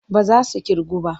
Ba za su ƙirgu ba.